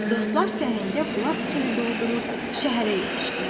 Dostlar səhəngə bulaq suyu doldurub şəhərə yetişdilər.